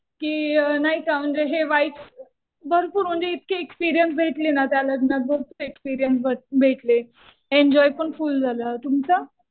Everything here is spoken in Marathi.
कि नाही का म्हणजे हे वाइब्स भरपूर म्हणजे इतके एक्सपीरियन्स भेटले ना त्या लग्नात. भरपूर एक्सपीरियन्स भेटले. एन्जॉय पण फुल झालं. तुमचं?